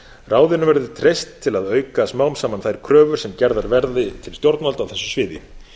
ráðinu verður treyst til að auka smám saman þær kröfur sem gerðar verði til stjórnvalda á þessu sviði